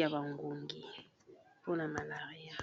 ya bangungi mpona malaria.